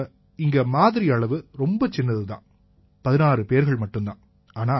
இப்ப இங்க மாதிரி அளவு ரொம்ப சின்னது தான் 16 பேர்கள் மட்டும் தான்